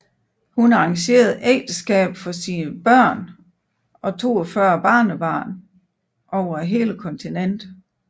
Hun arrangerede ægteskaber for sine børn og 42 børnebørn over hele kontinentet